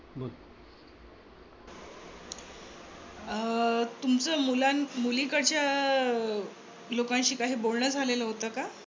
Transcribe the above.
अं तुमचं मुलां मुलीकडच्या लोकांशी काही बोलण झालेलं होत का?